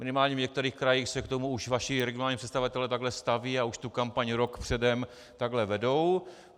Minimálně v některých krajích se k tomu už vaši regionální představitelé takhle stavějí a už tu kampaň rok předem takhle vedou.